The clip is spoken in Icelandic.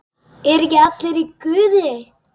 ERU EKKI ALLIR Í GUÐI?